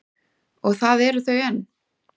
Og það eru þau enn.